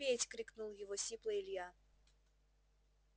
петь крикнул его сипло илья